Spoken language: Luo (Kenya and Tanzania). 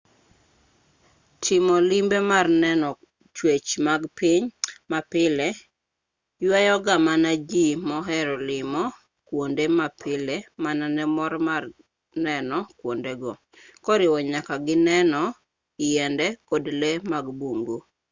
timo limbe mar neno chwech mag piny mapile ywayo ga mana ji mohero limo kwonde mapile mana ne mor mar neno kwondego koriwo nyaka gi neno yiende kod lee mag bungu